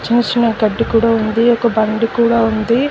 చిన్న చిన్న గడ్డి కూడా ఉంది ఒక బండి కూడా ఉంది.